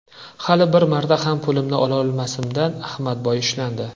Hali bir marta ham pulimni olmasimdan, Ahmadboy ushlandi.